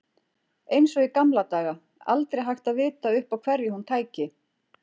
Eins og í gamla daga, aldrei hægt að vita upp á hverju hún tæki.